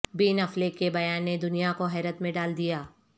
بن Affleck کے بیان نے دنیا کو حیرت میں ڈال دیا